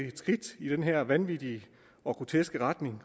et skridt i den her vanvittige og groteske retning